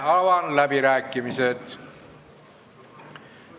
Avan läbirääkimised.